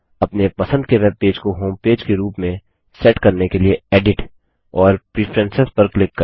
अपने पसंद के वेबपेज को होमपेज के रूप में सेट करने के लिए एडिट और प्रेफरेंस पर क्लिक करें